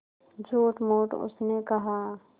झूठमूठ उसने कहा